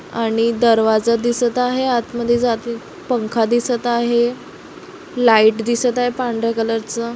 आणि दरवाजा दिसत आहे आत मधे जातेत पंखा दिसत आहे लाइट दिसत आहे. पांढर्‍या कलर च.